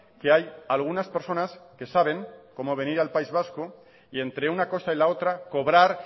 que hay algunas personas que saben cómo venir al país vasco y entre una cosa y la otra cobrar